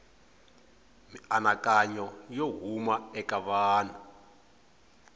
mianakanyo yo huma eka vanhu